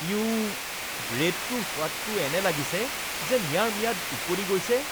U, ব্ৰেডটোৰ সোৱাদটো এনে লাগিছে যেন ইয়াৰ ম্যাদ উকলি গৈছে।